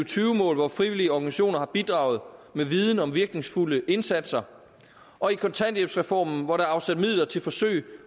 tyve mål hvor frivillige organisationer har bidraget med viden om virkningsfulde indsatser og i kontanthjælpsreformen hvor der er afsat midler til forsøg